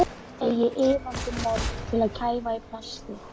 Að ég eigi iðandi mold til að kæfa í plasti.